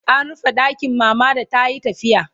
an rufe ɗakin mama da tayi tafiya